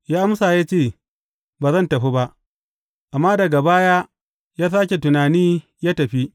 Ya amsa ya ce, Ba zan tafi ba,’ amma daga baya ya sāke tunani, ya tafi.